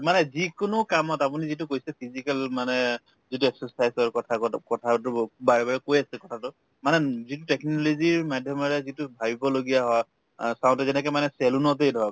মানে যিকোনো কামত আপুনি যিটো কৈছে physical মানে যিটো exercise ৰ কথাগত কথাটো বাৰে বাৰে কৈ আছে কথাটো মানে উম যিটো technology ৰ মাধ্যমেদি যিটো ভাবিব লগীয়া হয় অ চাওঁতে যেনেকে মানে salon তে ধৰক